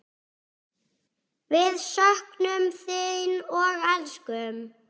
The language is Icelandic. Við söknum þín og elskum.